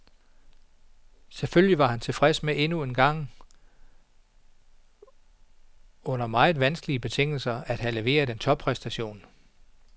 Selvfølgelig var han tilfreds med endnu engang under meget vanskelige betingelser at have leveret en toppræstation.